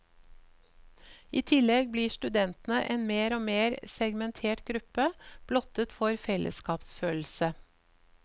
I tillegg blir studentene en mer og mer segmentert gruppe, blottet for fellesskapsfølelse.